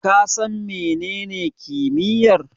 Ka san menene hikimar?